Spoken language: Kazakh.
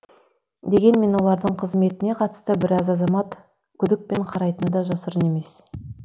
дегенмен олардың қызметіне қатысты біраз азамат күдікпен қарайтыны да жасырын емес